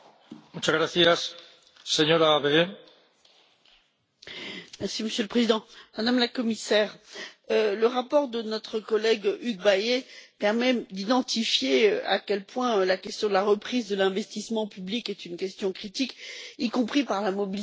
Monsieur le Président, Madame la Commissaire, le rapport de notre collègue Hugues Bayet permet d'identifier à quel point la question de la reprise de l'investissement public est une question critique, y compris par la mobilisation des marges de manœuvre dans les pays où existent aujourd'hui des surplus.